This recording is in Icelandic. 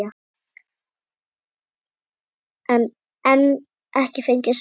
en enn ekki fengið svar.